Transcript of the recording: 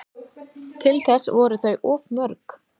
Til þess voru þau of mörg